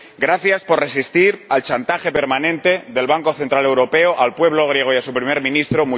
gracias por resistir al chantaje permanente del Banco Central Europeo al pueblo griego y a su Primer Ministro